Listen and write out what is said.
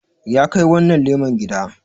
ya Kai wannan leman gida